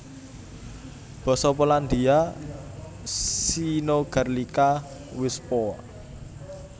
Basa Polandia synogarlica wyspowa